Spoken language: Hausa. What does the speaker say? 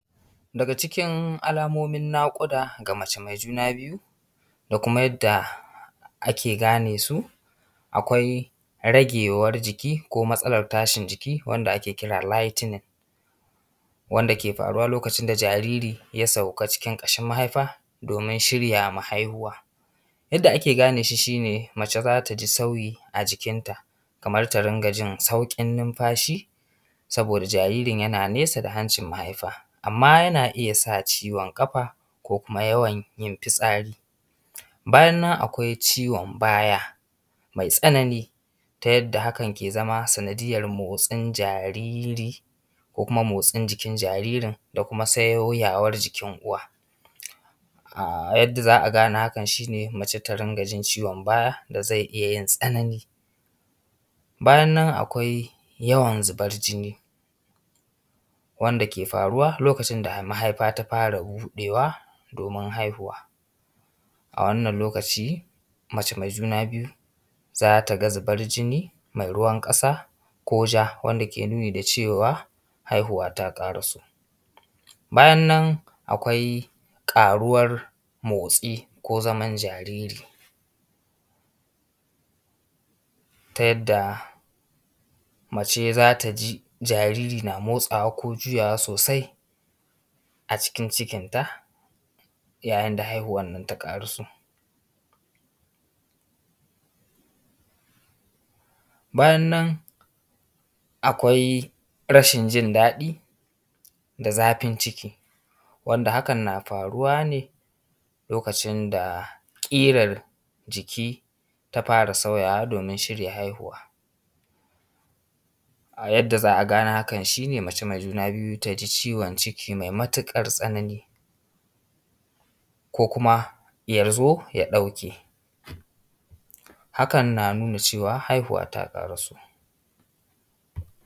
Daga cikin alamomin naƙuda ga mace mai juna biyu da kuma yadda ake gane su, akwai ragewar jiki ko matsalar tashin jiki wanda ake kira lighting wanda ke faruwa lokacin da jariri ya sauka cikin ƙashin mahaifa domin shirya ma haihuwa. Yadda ake gane shi shi ne mace za ta ji sauyi a jikinta kaman ta rinƙa jin sauƙin numfashi saboda jaririn yana nesa da hancin mahaifa, amman yana iya sa ciwon ƙafa ko kuma yawan yin fitsari. Bayan nan akwai ciwon baya mai tsanani ta yadda hakan ke zama sanadiyar motsin jariri ko kuma motsin jikin jaririn da kuma sauyawar jikin uwa. Yadda za a gane hakan shi ne mace ta rinƙa jin ciwon baya da zai iya yin tsanani. Bayan nan akwai yawan zubar jini wanda ke faruwa lokacin da mahaifa ta fara buɗewa domin haihuwa, a wannan lokaci mace mai juna biyu za ta ga zubar jini mai ruwan ƙasa ko ja wanda ke nuni da cewa haihuwa ta ƙaraso. Bayan nan akwai ƙaruwan motsi ko zaman jariri ta yadda mace za ta ji jariri na motsawa ko juyawa sosai a cikin cikinta yayin da haihuwar nan ta ƙaruso. Bayan nan akwai rashin jindaɗi da zafin ciki wanda hakan na faruwa ne lokacin da ƙirar jiki ta fara sauyawa domin shirya haihuwa. A yadda za a gane hakan shi ne mace mai juna biyu ta ji ciwon ciki mai matuƙar tsanani ko kuma ya zo ya ɗauke hakan na nuna cewa haihuwa ta ƙaraso.